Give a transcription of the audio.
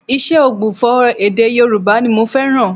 Ìṣe ògbufọ̀ èdè Yorùbá ni mo fẹ́ràn